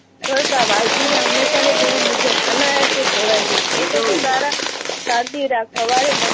કરતા વાલજીને હુમેશાની ટેવ મુજબ અનાયાસે કહેવાઈ ગયું. એ તો તું તારા સાદગી